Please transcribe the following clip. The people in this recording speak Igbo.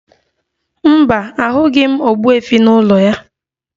Mba, ahụghị m ogbuefi n'ụlọ ya